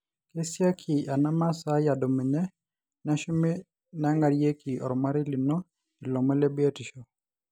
keasiaki ena masaai adumunye, neshumi nengarieki ormarei lino ilomon le biotisho